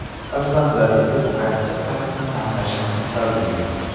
Farzandlaringiz qaysi kasbni tanlashini istardingiz?